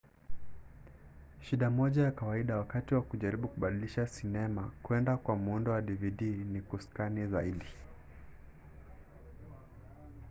shida moja ya kawaida wakati wa kujaribu kubadilisha sinema kwenda kwa muundo wa dvd ni kuskani zaidi